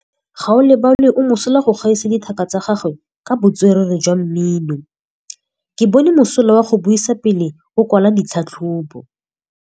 Gaolebalwe o mosola go gaisa dithaka tsa gagwe ka botswerere jwa mmino. Ke bone mosola wa go buisa pele o kwala tlhatlhobô.